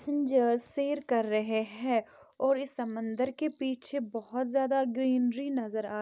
passengers सैर कर रहे है और इस समंदर के पीछे बहोत ज्यादा ग्रीनरी नजर आ--